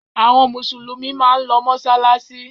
Àwọn Mùsùlùmí máa ń lọ mọ́ṣáláṣí.